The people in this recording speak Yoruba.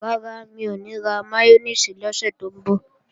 Rárá, mi ò ní ra máyónèsì lọ́sẹ̀ tó ń bọ̀